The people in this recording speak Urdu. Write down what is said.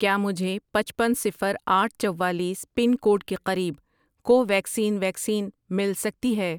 کیا مجھے پچپن، صفر، آٹھ ،چوالیس، پن کوڈ کے قریب کوویکسین ویکسین مل سکتی ہے